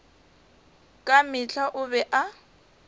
ka mehla o be a